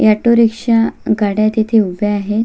Auto rickshaw गाड्या तिथे उभ्या आहे.